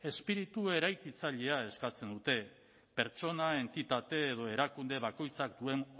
espiritu eraikitzailea eskatzen dute pertsona entitate edo erakunde bakoitzak duen